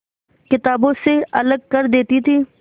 किताबों से अलग कर देती थी